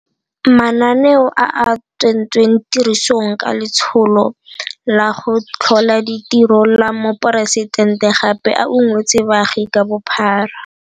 Mananeo a a tsentsweng tirisong ka Letsholo la go Tlhola Ditiro la Moporesidente gape a ungwetse baagi ka bophara.